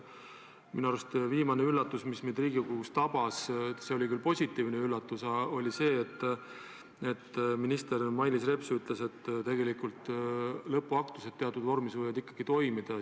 Minu arust viimane üllatus, mis meid Riigikogus tabas – see oli küll positiivne üllatus – oli see, et minister Mailis Reps ütles, et tegelikult lõpuaktused teatud vormis võivad ikkagi toimuda.